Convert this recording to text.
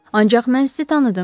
Ancaq mən sizi tanıdım.